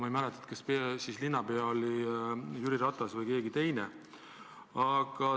Ma ei mäleta, kas siis linnapea oli Jüri Ratas või keegi teine.